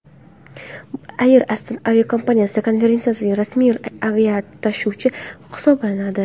Air Astana aviakompaniyasi konferensiyaning rasmiy aviatashuvchisi hisoblanadi.